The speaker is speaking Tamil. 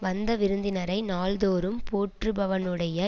வந்த விருந்தினரை நாள்தோறும் போற்றுபவனுடைய